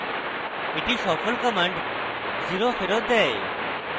একটি সফল command 0 শূন্য ফেরৎ দেয়